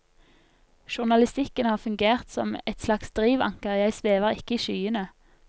Journalistikken har fungert som et slags drivanker, jeg svever ikke i skyene.